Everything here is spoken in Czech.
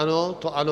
Ano, to ano.